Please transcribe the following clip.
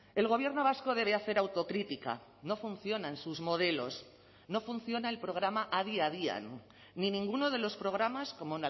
el gobierno vasco debe hacer autocrítica no funcionan sus modelos no funciona el programa adi adian ni ninguno de los programas como